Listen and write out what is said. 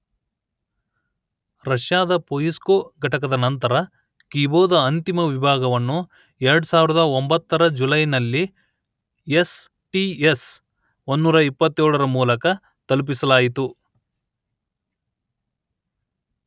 ರಷ್ಯಾದ ಪೊಯಿಸ್ಕೊ ಘಟಕದ ನಂತರ ಕಿಬೋ ದ ಅಂತಿಮ ವಿಭಾಗವನ್ನು ಎರಡು ಸಾವಿರದ ಒಂಭತ್ತರ ಜುಲೈನಲ್ಲಿ ಯೆಸ್ ಟಿ ಯೆಸ್ ಒಂದುನೂರ ಇಪ್ಪತ್ತೇಳರ ಮೂಲಕ ತಲುಪಿಸಲಾಯಿತು